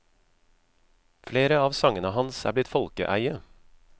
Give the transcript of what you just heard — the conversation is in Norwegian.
Flere av sangene hans er blitt folkeeie.